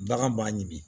Bagan b'a ɲimi